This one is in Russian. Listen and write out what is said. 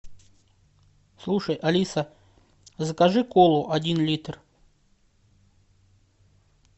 слушай алиса закажи колу один литр